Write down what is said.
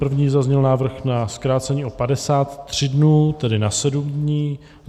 První zazněl návrh na zkrácení o 53 dnů, tedy na 7 dní.